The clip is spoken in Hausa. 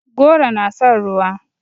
Goro na son ruwa.